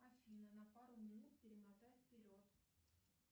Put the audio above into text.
афина на пару минут перемотай вперед